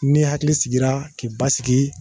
Ni hakili sigira k'i basigi